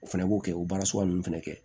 O fɛnɛ b'o kɛ o baara sugu nunnu fɛnɛ kɛ